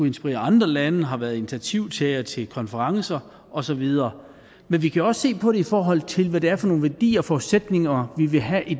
inspirere andre lande har været initiativtager til konferencer og så videre men vi kan også se på det i forhold til hvad det er for nogle værdier og forudsætninger vi vil have i